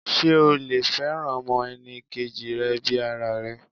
Sé o lè fẹ́ràn ọmọ enì kejì rẹ bi ara rẹ?